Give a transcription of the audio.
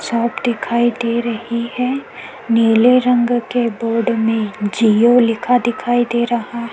छत दिखाई दे रही है नीले रंग के बोर्ड में जिओ लिखा दिखाई दे रहा है।